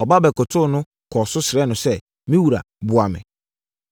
Ɔba bɛkotoo no kɔɔ so srɛɛ no sɛ, “Me wura, boa me!”